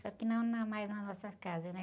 Só que não na, mais na nossa casa, né?